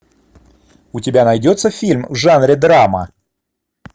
у тебя найдется фильм в жанре драма